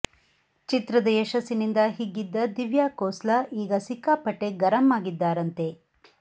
ಚಿತ್ರದ ಯಶಸ್ಸಿನಿಂದ ಹಿಗ್ಗಿದ್ದ ದಿವ್ಯಾ ಕೋಸ್ಲಾ ಈಗ ಸಿಕ್ಕಾಪಟ್ಟೆ ಗರಂ ಆಗಿದ್ದಾರಂತೆ